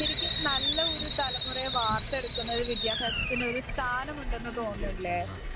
ശരിക്കും നല്ലൊരു തലമുറയെ വാർത്തെടുക്കുന്നതിൽ വിദ്യാഭ്യാസത്തിന് ഒരു സ്ഥാനമുണ്ടെന്ന് തോന്നുന്നില്ലേ.